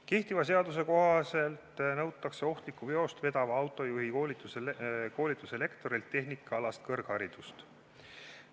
Kehtiva seaduse kohaselt nõutakse ohtlikku veost vedava autojuhi koolituse lektorilt tehnikaalast kõrgharidust.